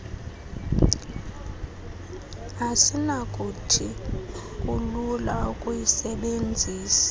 asinakuthi kulula ukuyisebenzisa